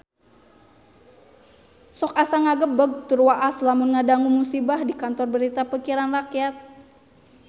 Sok asa ngagebeg tur waas lamun ngadangu musibah di Kantor Berita Pikiran Rakyat